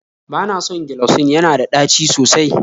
Bana son gelocin, yana da tɗaci sosai